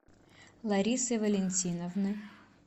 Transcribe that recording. ларисы валентиновны